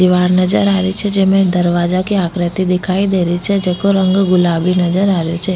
दिवार नजर आ रही छे जेमे दरवाजा की आकृति दिखाई दे री छे जेको रंग गुलाबी नजर आ रेहो छे।